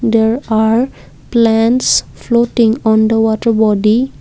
there are plants floating on the water body.